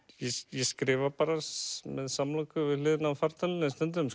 ég skrifa bara með samloku við hliðina á fartölvunni stundum